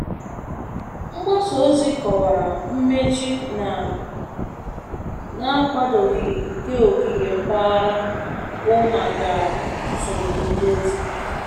Mgbasa ozi kọwara mmechi na-akwadoghị nke ogige mpaghara bụ maka nsogbu ndozi.